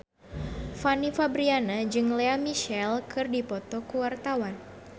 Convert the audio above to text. Fanny Fabriana jeung Lea Michele keur dipoto ku wartawan